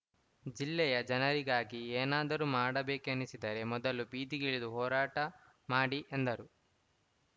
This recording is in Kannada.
ಜಿಲ್ಲೆಯ ಜನರಿಗಾಗಿ ಏನಾದರೂ ಮಾಡಬೇಕೆನಿಸಿದರೆ ಮೊದಲು ಬೀದಿಗಿಳಿದು ಹೋರಾಟ ಮಾಡಿ ಎಂದರು